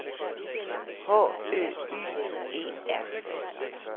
H Ø Y E R